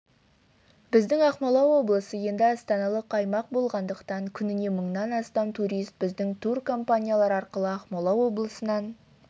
біздің ақмола облысы енді астаналық аймақ болғандықтан күніне мыңнан астам турист біздің туркомпаниялар арқылы ақмола облысынан